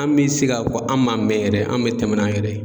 An bɛ se k'a fɔ an m'an mɛn yɛrɛ, an bɛ tɛmɛ n'an yɛrɛ ye.